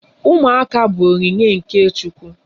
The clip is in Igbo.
Ụmụaka bụ onyinye nke Chukwu.